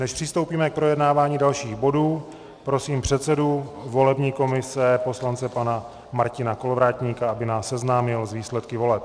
Než přistoupíme k projednávání dalších bodů, prosím předsedu volební komise poslance pana Martina Kolovratníka, aby nás seznámil s výsledky voleb.